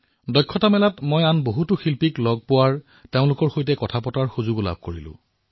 হুনাৰ হাটত মই আৰু অন্য শিল্পকাৰ সকলৰ সৈতেও কথাপতাৰ সুযোগ লাভ কৰিলো